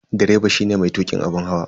Direba shine matukin abun hawa.